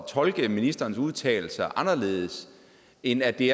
tolke ministerens udtalelser anderledes end at det